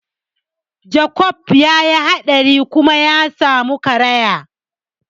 Jakob ya yi haɗari kuma ya samu karaya.